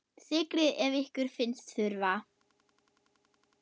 Sykrið ef ykkur finnst þurfa.